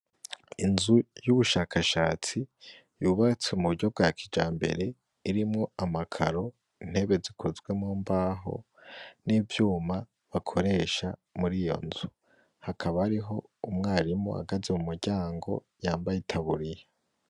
Inzu y' ubushakashatsi yubatse mu buryo bwa kijambere irimwo amakaro, intebe zikozwe mu mbaho n' ivyuma bakoresha muri iyo nzu hakaba hariho umwarimu ahagaze mu muryango yambaye itaburiya.